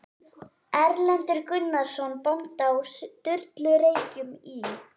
Erlendur Gunnarsson bóndi á Sturlureykjum í